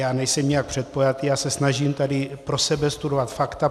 Já nejsem nijak předpojatý, já se snažím tady pro sebe studovat fakta.